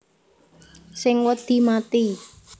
Sing wedi mati